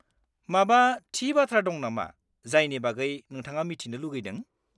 -माबा थि बाथ्रा दं नामा जायनि बागै नोंथाङा मिथिनो लुगैदों?